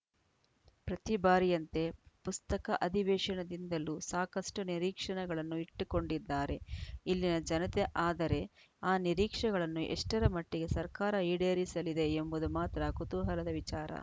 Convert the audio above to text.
ಪ್ರತಿ ಬಾರಿಯಂತೆ ಪುಸ್ತಕ ಅಧಿವೇಶನದಿಂದಲೂ ಸಾಕಷ್ಟುನಿರೀಕ್ಷಣ ಗಳನ್ನು ಇಟ್ಟುಕೊಂಡಿದ್ದಾರೆ ಇಲ್ಲಿನ ಜನತೆ ಆದರೆ ಆ ನಿರೀಕ್ಷೆಗಳನ್ನು ಎಷ್ಟರಮಟ್ಟಿಗೆ ಸರ್ಕಾರ ಈಡೇರಿಸಲಿದೆ ಎಂಬುದು ಮಾತ್ರ ಕುತೂಹಲದ ವಿಚಾರ